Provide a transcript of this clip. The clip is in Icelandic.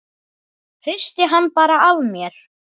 Hristi hann bara af mér.